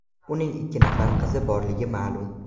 Uning ikki nafar qizi borligi ma’lum.